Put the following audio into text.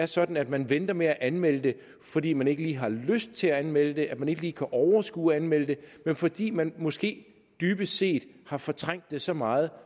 sådan at man venter med at anmelde det fordi man ikke lige har lyst til at anmelde det at man ikke lige kan overskue at anmelde det men fordi man måske dybest set har fortrængt det så meget